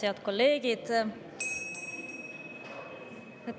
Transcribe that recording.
Head kolleegid!